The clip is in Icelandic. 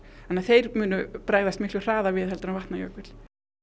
þannig að þeir munu bregðast miklu hraðar við en Vatnajökull